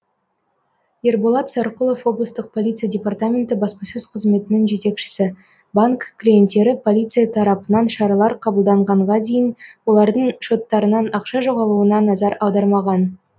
ерболат сарқұлов облыстық полиция департаменті баспасөз қызметінің жетекшісі банк клиенттері полиция тарапынан шаралар қабылданғанға дейін олардың шоттарынан ақша жоғалуына назар аудармаған